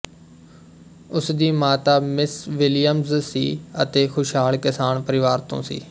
ਉਸ ਦੀ ਮਾਤਾ ਮਿਸ ਵਿਲੀਅਮਜ਼ ਸੀ ਅਤੇ ਖੁਸ਼ਹਾਲ ਕਿਸਾਨ ਪਰਿਵਾਰ ਤੋਂ ਸੀ